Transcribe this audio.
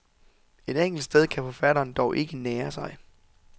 Et enkelt sted kan forfatteren dog ikke nære sig.